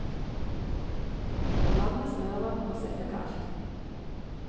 Bland med smøret og sett det kaldt.